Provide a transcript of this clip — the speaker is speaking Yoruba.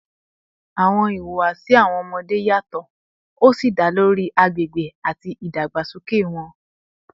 Awọn ihuwasi awọn ọmọde yatọ si da lori agbegbe ati idagbasoke wọn